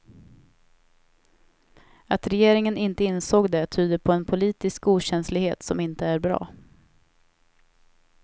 Att regeringen inte insåg det tyder på en politisk okänslighet som inte är bra.